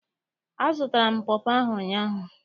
Azụtara m pọpọ ahụ ụnyaahụ.